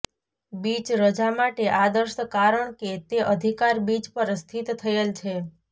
beach રજા માટે આદર્શ કારણ કે તે અધિકાર બીચ પર સ્થિત થયેલ છે